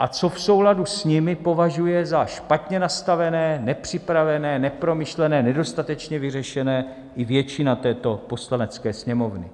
a co v souladu s nimi považuje za špatně nastavené, nepřipravené, nepromyšlené, nedostatečně vyřešené, i většina této Poslanecké sněmovny.